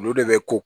Olu de bɛ ko